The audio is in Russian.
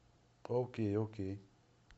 окей окей